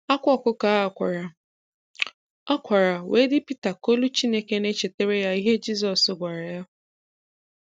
Akwa ọkụkọ a kwara a kwara wee di pita ka olu Chineke na echetere ya ihe Jizọs gwara ya.